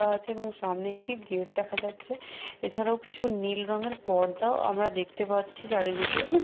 আছে এবং সামনে একটি গেট দেখা যাচ্ছে এছাড়াও কিছু নীল রঙের পর্দাও আমরা দেখতে পাচ্ছি চারিদিকে --